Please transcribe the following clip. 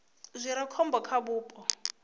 zwi re khombo kha vhupo